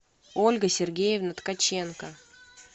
ольга сергеевна ткаченко